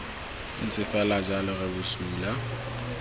ntse fela jalo re bosula